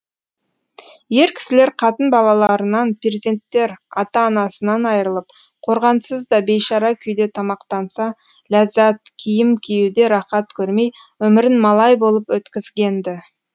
ер кісілер қатын балаларынан перзенттер ата анасынан айырылып қорғансыз да бейшара күйде тамақтанса ләззат киім киюде рақат көрмей өмірін малай болып өткізген ді